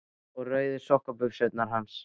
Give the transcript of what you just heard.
Og rauðu sokkabuxurnar hans?